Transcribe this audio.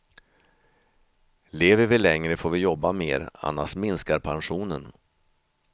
Lever vi längre får vi jobba mer, annars minskar pensionen.